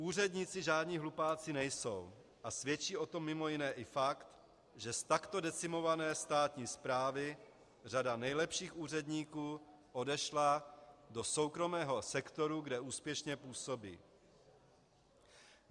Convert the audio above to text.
Úředníci žádní hlupáci nejsou a svědčí o tom mimo jiné i fakt, že z takto decimované státní správy řada nejlepších úředníků odešla do soukromého sektoru, kde úspěšně působí.